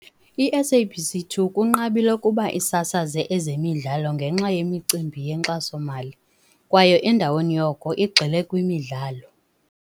I-SABC 2 kunqabile ukuba isasaze ezemidlalo ngenxa yemicimbi yenkxaso-mali, kwaye endaweni yoko igxile kwimidlalo.